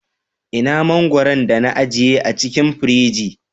Ina mangwaron da na ajiye a cikin firiji?